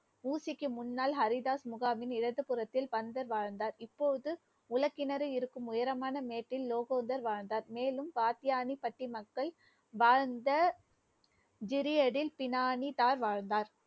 ஊசிக்கு முன்னால் ஹரிதாஸ் முகாமின் இடது புறத்தில் பந்தர் வாழ்ந்தார். இப்போது உள கிணறு இருக்கும் உயரமான மேட்டில் லோகோதர் வாழ்ந்தார். மேலும் பாட்யணி பட்டி மக்கள் வாழந்த வாழ்ந்தார்